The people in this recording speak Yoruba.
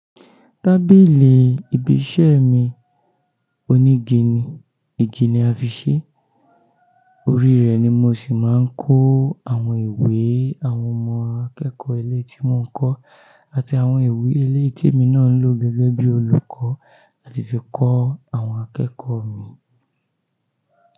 Tábìlì ibi iṣẹ́ mi onígi ni, ìgi ni a fi ṣẹ́, orí rẹ̀ ni mo sì máa ń kó àwọn ìwé àwọn ọmọ akẹ́kọ̀ọ́ ilé tí mò ń kọ́ àti àwọn ìwé eleyii ti emi náà ń lò gẹ́gẹ́ bí olùkọ́ àti fi kọ́ àwọn akẹ́kọ̀ọ́ mi.